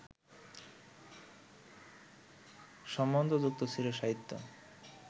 সম্বন্ধযুক্ত ছিল সাহিত্য